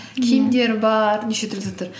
киімдер бар неше түрлі заттар